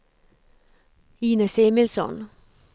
Inez Emilsson